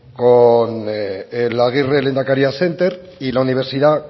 con el agirre lehendakari center y la universidad